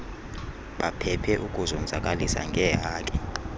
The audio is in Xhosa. baphephe ukuzonzakalisa ngeehaki